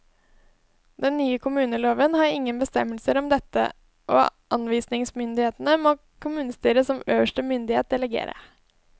Den nye kommuneloven har ingen bestemmelser om dette, og anvisningsmyndigheten må kommunestyret som øverste myndighet delegere.